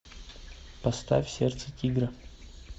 поставь сердце тигра